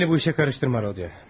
Məni bu işə qarışdırma, Rodiyo.